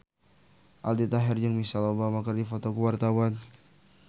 Aldi Taher jeung Michelle Obama keur dipoto ku wartawan